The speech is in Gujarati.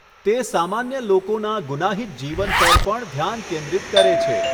તે સામાન્ય લોકોનાં ગુનાહિત જીવન પર પણ ધ્યાન કેન્દ્રિત કરે છે.